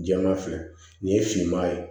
Jɛman filɛ nin ye finman ye